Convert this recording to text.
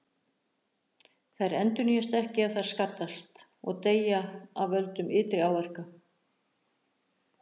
Þær endurnýjast ekki ef þær skaddast, og deyja af völdum ytri áhrifa.